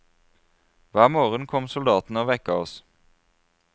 Hver morgen kom soldatene og vekket oss.